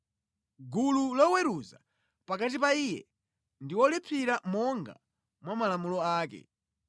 gulu liweruze pakati pa iye ndi wolipsira monga mwa malamulo ake.